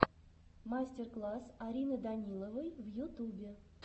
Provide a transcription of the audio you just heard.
мастер класс арины даниловой в ютубе